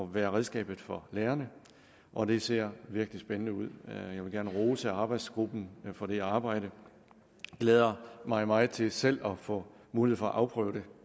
være redskabet for lærerne og det ser virkelig spændende ud jeg vil gerne rose arbejdsgruppen for det arbejde jeg glæder mig meget til selv at få mulighed for at afprøve det